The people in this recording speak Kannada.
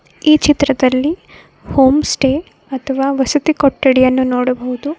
ಈ ಚಿತ್ರದಲ್ಲಿ ಹೋಂಸ್ಟೇ ಅಥವಾ ವಸತಿ ಕೊಟ್ಟಡಿಯನ್ನು ನೋಡಬಹುದು.